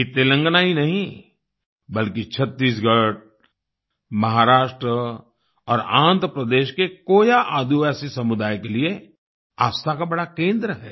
ये तेलंगाना ही नहीं बल्कि छत्तीसगढ़ महाराष्ट्र और आन्ध्र प्रदेश के कोया आदिवासी समुदाय के लिए आस्था का बड़ा केंद्र है